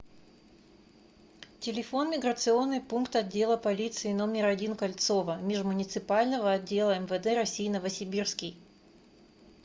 телефон миграционный пункт отдела полиции номер один кольцово межмуниципального отдела мвд россии новосибирский